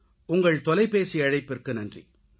உங்கள் தொலைபேசி அழைப்புக்கு நன்றி